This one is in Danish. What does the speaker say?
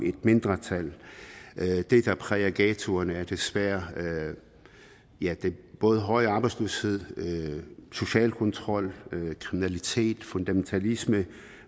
et mindretal det der præger ghettoerne er desværre både høj arbejdsløshed social kontrol kriminalitet fundamentalisme